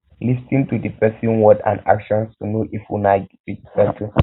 lis ten to di person word and actions to know if una go fit settle